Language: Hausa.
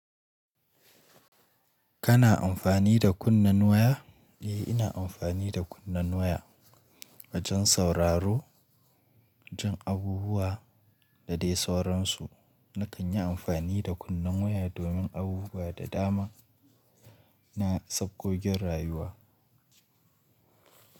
Kana amfani da kunnen waya? Eh, ina amfani da kunnen waya wajen sauraro jin abubuwa da dai sauransu. Na kan yi amfani da kunnen waya domin abubuwa da dama na sangogin rayuwa.